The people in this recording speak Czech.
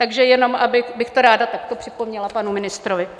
Takže jenom bych to ráda takto připomněla panu ministrovi.